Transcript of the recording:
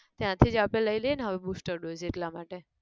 ત્યાંથી જ આપણે લઇ લઈએ ન હવે booster dose એટલા માટે